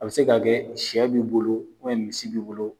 A bi se ka kɛ sɛ b'i bolo misi b'i bolo